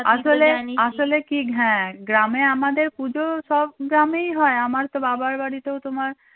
আসলে আসলে কি হ্যাঁ গ্রামে আমাদের পুজোর সব গ্রামেই হয় আমার তো বাবার বাড়িতে তোমার